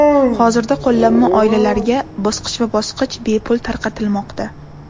Hozirda qo‘llanma oilalarga bosqichma-bosqich bepul tarqatilmoqda.